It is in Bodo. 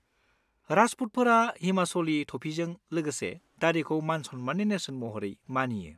राजपुतफोरा हिमाचलि थफिजों लोगोसे दारिखौ मान-सन्माननि नेरसोन महरै मानियो।